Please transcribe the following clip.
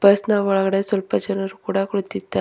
bus ನ ಒಳಗಡೆ ಸ್ವಲ್ಪ ಜನರು ಕೂಡ ಕುಳಿತಿದ್ದಾ--